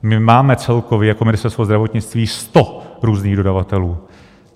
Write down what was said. My máme celkově jako Ministerstvo zdravotnictví sto různých dodavatelů.